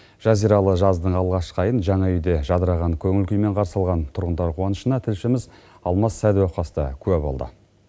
жазиралы жаздың алғашқы айын жаңа үйде жадыраған көңіл күймен қарсы алған тұрғындар қуанышына тілшіміз алмас сәдуақас та куә болды